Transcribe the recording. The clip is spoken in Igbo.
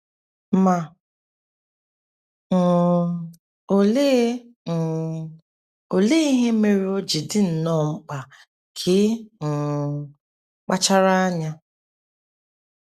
Ma, um olee um olee ihe mere o ji dị nnọọ mkpa ka ị um kpachara anya?